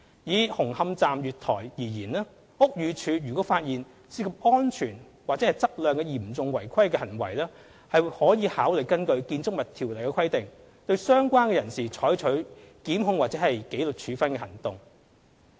以紅磡站月台而言，屋宇署如果發現涉及安全或質量的嚴重違規行為，可考慮根據《建築物條例》的規定對相關人士採取檢控或紀律處分行動。